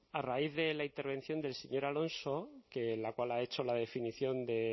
a raíz de la intervención del señor alonso en la cual ha hecho la definición de